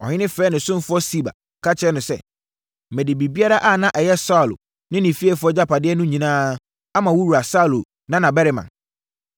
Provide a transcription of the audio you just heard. Ɔhene frɛɛ ne ɔsomfoɔ Siba, ka kyerɛɛ no sɛ, “Mede biribiara a na ɛyɛ Saulo ne ne fiefoɔ agyapadeɛ no nyinaa ama wo wura Saulo nanabarima no.